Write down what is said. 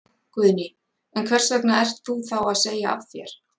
Guðný: En hvers vegna ert þú þá að segja af þér?